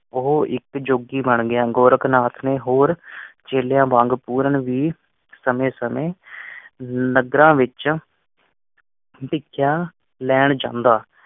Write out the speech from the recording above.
ਉਹ ਇੱਕ ਜੋਗੀ ਬਣ ਗਿਆ ਗੋਰਖਨਾਥ ਨੇ ਹੋਰ ਚੇਲਿਆਂ ਵਾਂਗ ਪੂਰਨ ਵੀ ਸਮੇ ਸਮੇ ਨਗਰਾਂ ਵਿਚ ਭਿਕਸਾ ਲੈਣ ਜਾਂਦਾ।